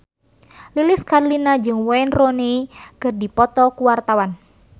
Lilis Karlina jeung Wayne Rooney keur dipoto ku wartawan